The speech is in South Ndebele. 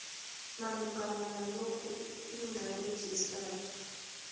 malungana nalokhu ingarejistarwa